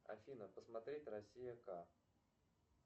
афина посмотреть россия к